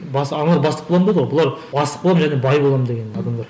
аналар бастық боламын деді ғой бұлар бастық боламын және бай боламын деген адамдар